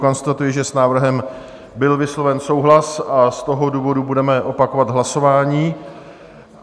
Konstatuji, že s návrhem byl vysloven souhlas, a z toho důvodu budeme opakovat hlasování.